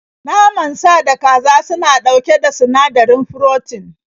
Naman sa da kaza suna ɗauke da sinadarin furotin